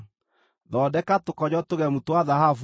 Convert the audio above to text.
Thondeka tũkonyo tũgemu twa thahabu